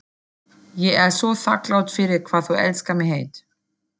Ég er svo þakklát fyrir hvað þú elskar mig heitt.